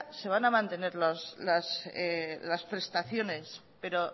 se van a mantener las prestaciones pero